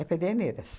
Pederneiras.